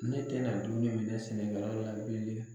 Ne tɛna dumuni minɛ sɛnɛkɛlaw la bilen.